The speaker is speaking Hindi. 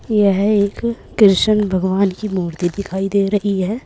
यह एक कृष्ण भगवान की मूर्ति दिखाई दे रही है।